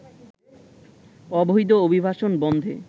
অবৈধ অভিবাসন বন্ধে